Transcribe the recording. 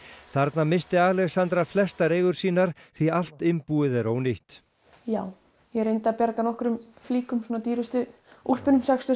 þarna missti Alexandra flestar eigur sínar því allt innbúið er ónýtt já ég reyndi að bjarga nokkrun flíkum svona dýrustu úlpum sextíu